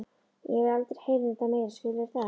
Ég vil aldrei heyra um þetta meira, skilurðu það?